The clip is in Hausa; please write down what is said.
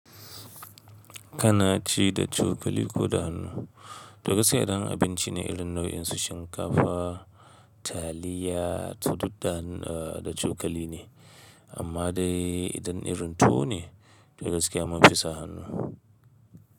Kana ci da cokali ko da hannu? To gaskiya idan abinci ne irin nau'in su shinkafa, taliya, su duk da cokali ne, amma dai idan irin tuwo ne to dagaskiya mun fisa hannu.